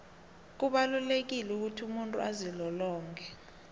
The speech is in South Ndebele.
kubalulekile ukuthi umuntu azilolonge